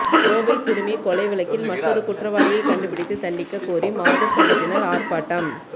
கோவை சிறுமி கொலை வழக்கில் மற்றொரு குற்றவாளியை கண்டுபிடித்து தண்டிக்க கோரி மாதர் சங்கத்தினர் ஆர்ப்பாட்டம்